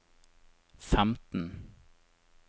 femten